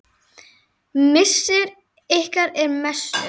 Missir ykkar er mestur.